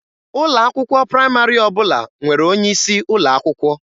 Ụlọ akwụkwọ praịmarị ọbụla nwere onye isi ụlọ akwụkwọ.